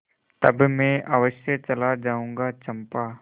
तब मैं अवश्य चला जाऊँगा चंपा